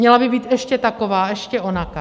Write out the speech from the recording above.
Měla by být ještě taková, ještě onaká.